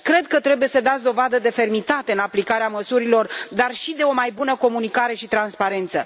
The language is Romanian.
Cred că trebuie să dați dovadă de fermitate în aplicarea măsurilor, dar și de o mai bună comunicare și transparență.